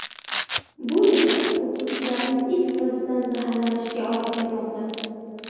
Bu esa o‘quvchilarning is gazidan zaharlanishiga olib kelmoqda.